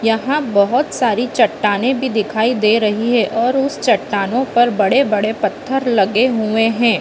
यहाँ बोहत सारी चट्टाने भी दिखाई दे रही है और उस चट्टानो पर बड़े-बड़े पत्थर लगे हुए है ।